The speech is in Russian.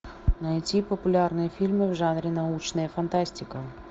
найти популярные фильмы в жанре научная фантастика